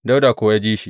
Dawuda kuwa ya ji shi.